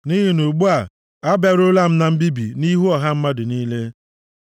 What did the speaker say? Nʼihi na ugbu a, abịaruola m na mbibi nʼihu ọha mmadụ niile.”